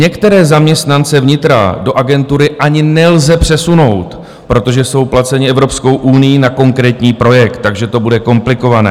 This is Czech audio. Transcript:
Některé zaměstnance vnitra do agentury ani nelze přesunout, protože jsou placeni Evropskou unií na konkrétní projekt, takže to bude komplikované.